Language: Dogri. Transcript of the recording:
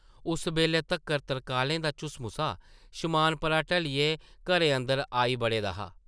उस बेल्लै तक्कर तरकालें दा झुसमुसा शमाना परा ढलियै घरें अंदर आई बड़े दा हा ।